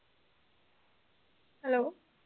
hello